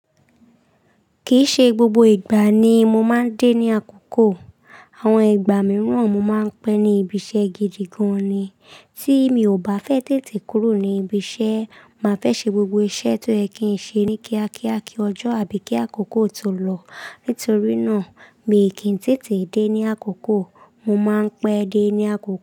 Kìí ṣe gbogbo ìgbà ni mo máa ń dé ní àkókò. Àwọn ìgbà mìíràn mo máa ń pẹ́ ní ibiṣẹ́ gidi gan ni tí mi ò bá fẹ́ tètè kúrò ní ibiṣẹ́, màá fẹ́ ṣe gbogbo iṣẹ́ tó yẹ kí n ṣe ní kíákíá kí ọjọ́ àbí kí àkókò tó lọ. Nítorí náà, mi ǹ kìí tètè dé ní àkókò. Mo máa ń pẹ́ dé ní àkókò.